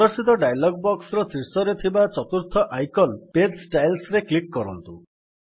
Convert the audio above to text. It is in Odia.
ପ୍ରଦର୍ଶିତ ଡାୟଲଗ୍ ବକ୍ସର ଶୀର୍ଷରେ ଥିବା ୪ର୍ଥ ଆଇକନ୍ ପେଜ୍ ଷ୍ଟାଇଲ୍ସ ରେ କ୍ଲିକ୍ କରନ୍ତୁ